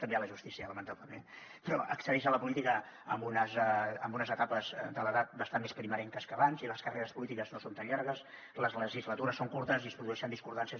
també a la justícia lamentablement però accedeix a la política en unes etapes de l’edat bastant més primerenques que abans i les carreres polítiques no són tan llargues les legislatures són curtes i es produeixen discordances